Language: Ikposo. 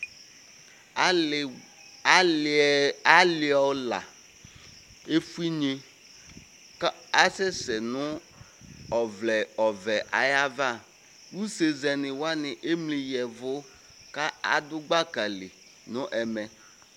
Aliɔla efue inye ku asɛsɛ nu ɔvlɛ ɔvɛ ayava usezɛniwani emli yavu ku adu gbakali nu ɛmɛ